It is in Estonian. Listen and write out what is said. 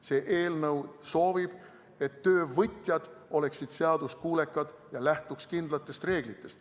See eelnõu soovib, et töövõtjad oleksid seaduskuulekad ja lähtuksid kindlatest reeglitest.